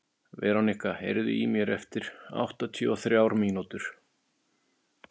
Veronika, heyrðu í mér eftir áttatíu og þrjár mínútur.